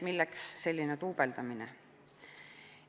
Milleks selline duubeldamine?